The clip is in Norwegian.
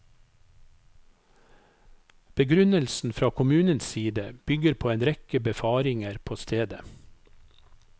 Begrunnelsen fra kommunens side bygger på en rekke befaringer på stedet.